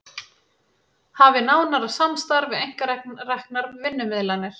Hafi nánara samstarf við einkareknar vinnumiðlanir